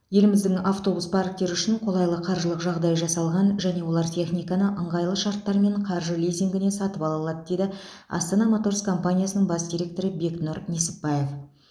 еліміздің автобус парктері үшін қолайлы қаржылық жағдай жасалған және олар техниканы ыңғайлы шарттармен қаржы лизингіне сатып ала алады дейді астана моторс компаниясының бас директоры бекнұр несіпбаев